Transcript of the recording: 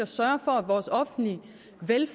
vil